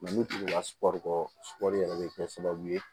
U n'u tugula sugɔri yɛrɛ be kɛ sababu ye